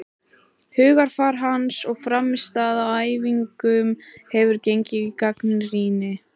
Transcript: Hugarfar hans og frammistaða á æfingum hefur fengið gagnrýni.